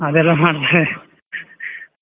ಅದೆಲ್ಲ ಮಾಡ್ತಾರೆ.